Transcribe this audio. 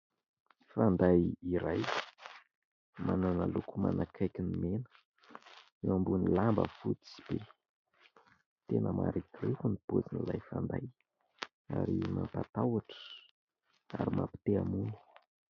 Fanday iray manana loko manakaiky ny mena; eo ambon'ny lamba fotsy be; tena marikoriko ny pozin'ilay fanday ary mampitahotra ary mampite-hamono.